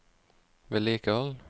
vedlikehold